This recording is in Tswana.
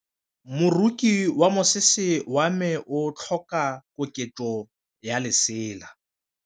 Moroki wa mosese wa me o tlhoka koketsô ya lesela.